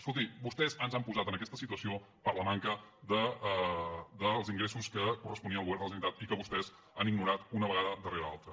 escolti vostès ens han posat en aquesta situació per la manca dels ingressos que corresponien al govern de la generalitat i que vostès han ignorat una vegada darrere l’altra